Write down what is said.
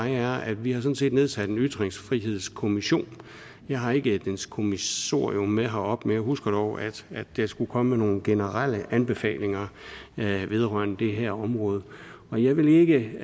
er at vi sådan set har nedsat en ytringsfrihedskommission og jeg har ikke dens kommissorium med herop men jeg husker dog at der skulle komme nogle generelle anbefalinger vedrørende det her område og jeg vil ikke